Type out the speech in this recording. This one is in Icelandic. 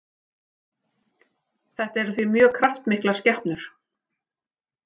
Þetta eru því mjög kraftmiklar skepnur.